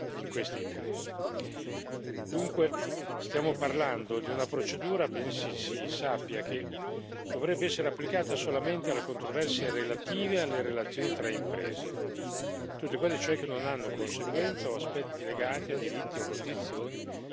Dunque stiamo parlando di una procedura, ben si sappia, che dovrebbe essere applicata solamente alle controversie relative alle relazioni tra imprese, tutte quelle, cioè, che non hanno conseguenze o aspetti legati a diritti o a condizioni di altre imprese o dei lavoratori.